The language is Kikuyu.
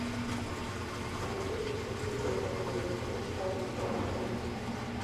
Kũrĩa biribiri nĩgũteithagia kũnyihia ũritũ wa mwĩrĩ